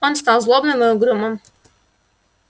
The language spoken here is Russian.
он стал злобным и угрюмым